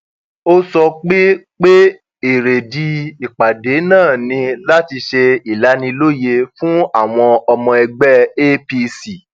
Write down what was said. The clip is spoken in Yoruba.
ó sọ pé pé èrèdí ìpàdé náà ni láti ṣe ìlanilóye fún àwọn ọmọ ẹgbẹ apc